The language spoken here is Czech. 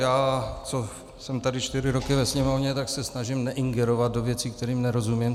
Já, co jsem tady čtyři roky ve Sněmovny, tak se snažím neingerovat do věcí, kterým nerozumím.